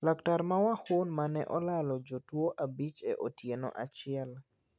Laktar ma Wuhan ma ne olalo jotuo abich e otieno achiel.